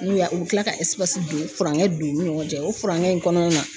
N'u y'a, u kila ka don furankɛ don u ni ɲɔgɔn cɛ o furankɛ in kɔnɔna na